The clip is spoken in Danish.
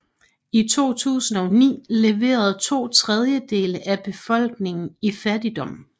I 2009 levede to tredjedele af befolkningen i fattigdom